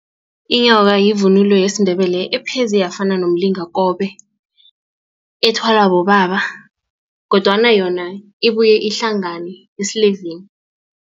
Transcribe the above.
Inyoka yivunulo yesiNdebele epheze yafana nomlingakobe ethwalwa bobaba kodwana yona ibuye ihlangane esilevini.